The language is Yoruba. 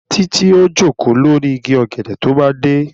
Títí ó jòkó lórí igi ọ̀gẹ̀dẹ̀ tó bá dé